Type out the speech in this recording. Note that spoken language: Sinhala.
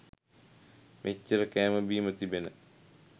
මෙච්චර කෑම බීම තිබෙන